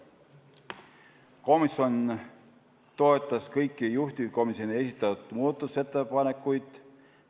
Komisjon toetas kõiki juhtivkomisjoni esitatud muudatusettepanekuid.